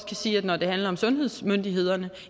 kan sige at når det handler om sundhedsmyndighederne